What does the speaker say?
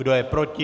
Kdo je proti?